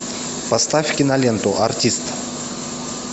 поставь киноленту артист